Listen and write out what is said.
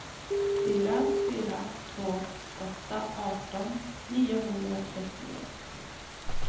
fyra fyra två åtta arton niohundratrettioett